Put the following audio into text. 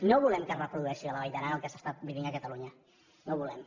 no volem que es reprodueixi a la vall d’aran el que s’està vivint a catalunya no ho volem